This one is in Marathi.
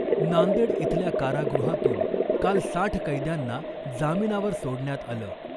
नांदेड इथल्या कारागृहातून काल साठ कैद्यांना जामिनावर सोडण्यात आलं .